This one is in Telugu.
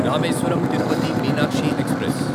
రామేశ్వరం తిరుపతి మీనాక్షి ఎక్స్ప్రెస్